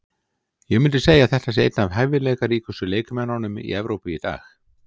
Ég myndi segja að þetta sé einn af hæfileikaríkustu leikmönnunum í Evrópu í dag.